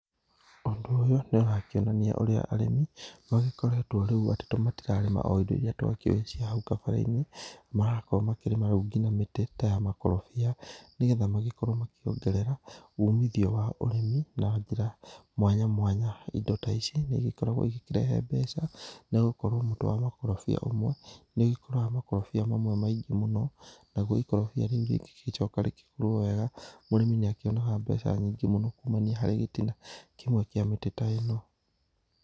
Ũndũ ũyũ nĩ ũrakĩonania ũrĩa arĩmi magĩkoretwo rĩu atĩ to matirarĩma o indo irĩa twakĩũĩ cia hau gabere-inĩ marakorwo makĩrĩma rĩu nginya mĩtĩ ta ya makorobia nĩgetha makorwo makĩongerera ũmithio wa ũrĩmi na njĩra mwanya mwanya, indo ta ici nĩ ĩgĩkoragwo ĩgĩkĩrehe mbeca nĩgũkorwo mũtĩ wa makorobia ũmwe nĩ ũgĩkũraga makorobia mamwe maingĩ mũno nagũo ikorobia rĩu rĩgĩgĩcoka rĩgũrwo wega mũrĩmi nĩ akĩonaga mbeca nyingĩ mũno kũmania harĩ gĩtina kĩmwe kĩa mĩtĩ ta ĩno.